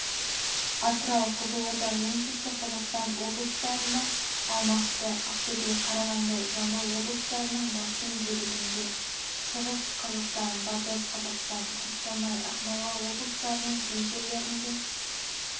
атырау қызылорда оңтүстік қазақстан облыстарында алматы ақтөбе қарағанды жамбыл облыстарының басым бөлігінде шығыс қазақстан батыс қазақстан қостанай ақмола облыстарының кей жерлерінде